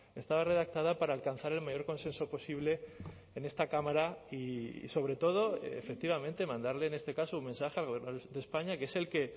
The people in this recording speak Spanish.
estaba redactada para alcanzar el mayor consenso posible en esta cámara y sobre todo efectivamente mandarle en este caso un mensaje al gobierno de españa que es el que